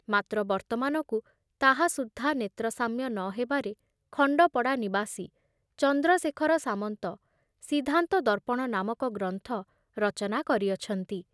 ମାତ୍ର ବର୍ତ୍ତମାନକୁ ତାହା ସୁଦ୍ଧା ନେତ୍ରସାମ୍ୟ ନ ହେବାରେ ଖଣ୍ଡପଡ଼ା ନିବାସୀ ଚନ୍ଦ୍ରଶେଖର ସାମନ୍ତ ସିଦ୍ଧାନ୍ତ ଦର୍ପଣ ନାମକ ଗ୍ରନ୍ଥ ରଚନା କରିଅଛନ୍ତି ।